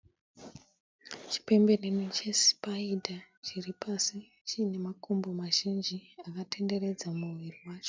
Chipembenene chesipaida chiri pasi chiine makumbo mazhinji akatenderedza muviri wacho.